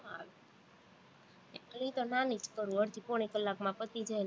હું તો નાની જ કરું, અડધી પોણી કલાકમાં પતિ જાય